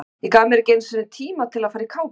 Ég gaf mér ekki einu sinni tíma til að fara í kápuna.